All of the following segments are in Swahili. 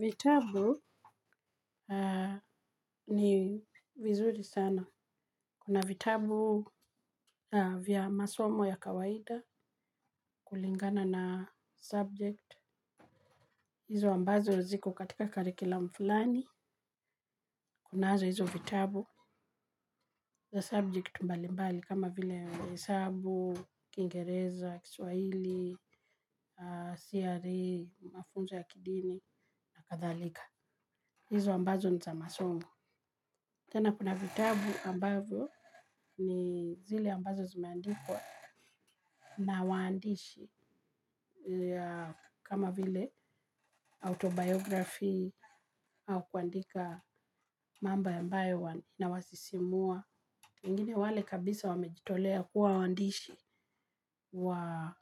Vitabu aah ni vizuri sana. Kuna vitabu vya masomo ya kawaida kulingana na subject. Hizo ambazo ziko katika curriculum fulani. Kunazo hizo vitabu za subject mbali mbali kama vile ya hesabu, kiingereza, swahili, CRE, mafunzo ya kidini, na kadhalika. Hizo ambazo ni za masomo. Tena kuna vitabu ambazo ni zile ambazo zimeandikwa na waandishi ya kama vile autobiography au kuandika mambo ambayo wana inawasisimua. Wengine wale kabisa wamejitolea kuwa waandishi wa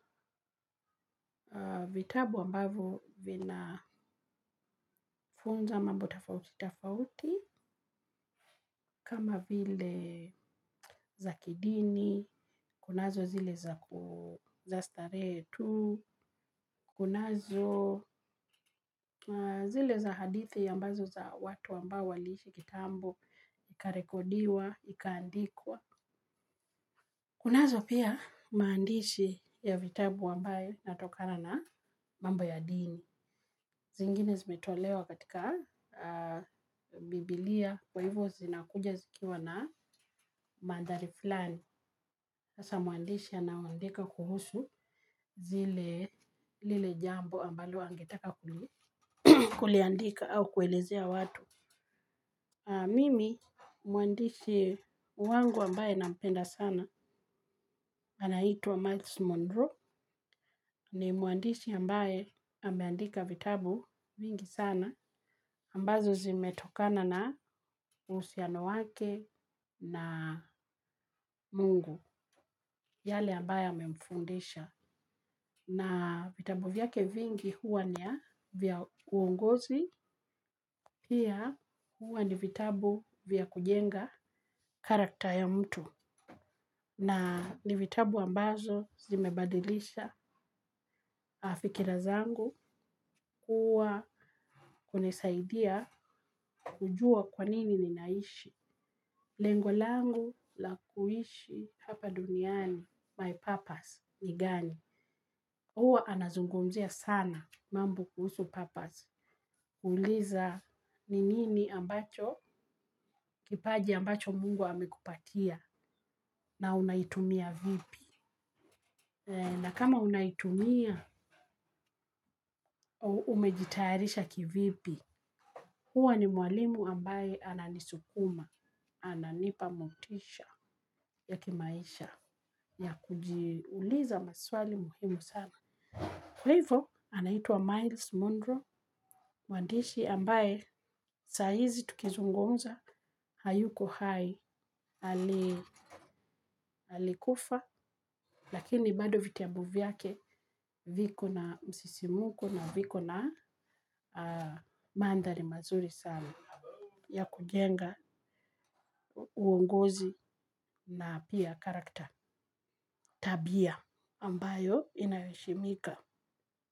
vitabu ambavyo vina vinafunza mambo tofauti tofauti kama vile za kidini, kunazo zile za starehe tu, kunazo zile za hadithi ambazo za watu ambao waliishi kitambo. Ikarekodiwa, ikaandikwa. Kunazo pia maandishi ya vitabu ambaye inatokana na mambo ya dini. Zingine zimetolewa katika biblia kwa hivyo zinakuja zikiwa na mandhari fluani sasa mwandishi anawaandika kuhusu zile lile jambo ambalo angetaka kuliandika au kuelezea watu. Mimi mwandishi wangu ambaye nampenda sana. Anaitwa Max Mondro ni mwandishi ambaye ameandika vitabu nyingi sana ambazo zimetokana na uhusiano wake na mungu yale ambaye ame mfundisha. Na vitabu vya kevingi huwa ni ya vya uongozi, pia huwa ni vitabu vya kujenga charachter ya mtu. Na ni vitabu ambazo zimebadilisha fikira zangu huwa kunisaidia kujua kwanini ninaishi. Lengolangu la kuishi hapa duniani, my purpose ni gani. Huwa anazungumzia sana mambo kuhusu purpose. Uliza ninini ambacho, kipaji ambacho mungu amekupatia na unaitumia vipi. Na kama unaitumia, umejitayarisha kivipi. Huwa ni mwalimu ambaye ananisukuma, ananipamotisha ya kimaisha ya kujiuliza maswali muhimu sana. Kwa hivo, anaitwa Miles Monroe, mwandishi ambaye sa hiizi tukizungumza, hayuko hai, ali alikufa, lakini bado vitiabu vyake viko na msisimuko na viko na aah mandhari mazuri salna ya kujenga uongozi na pia charachter tabia ambayo inayoheshimika.